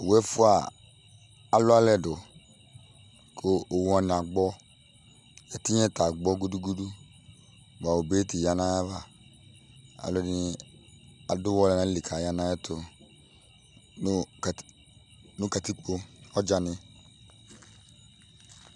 Owʋ ɛfʋa alʋ alɛ dʋ, kʋ owʋ wanɩ agbɔ Ɛtɩnya yɛ ta agbɔ gʋdʋ gʋdʋ; bʋa obe yɛ tɩya nʋ ayʋ ava Alʋ ɛdɩnɩ adʋ ʋwɔ ya nʋ alɛlɩ, kʋ aya nʋ ayʋ ɛtʋ nʋ katikpo, ɔdzanɩ